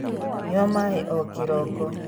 Nyua maĩ o kĩroko